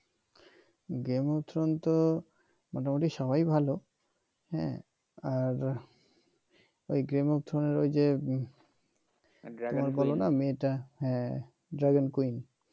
game of Throne তো মোটামুটি সবাই ভাল হ্যাঁ আর ওই গেম অফ থ্রন এর ওই যে হ্যাঁ ড্রাগন কুইন